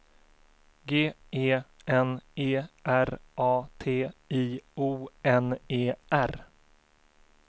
G E N E R A T I O N E R